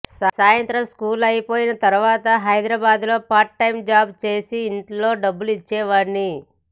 సాయంత్రం స్కూల్ అయిపోయిన తరువాత హైదరాబాద్లో పార్ట్ టైమ్ జాబ్ చేసి ఇంట్లో డబ్బులు ఇచ్చేవాడిని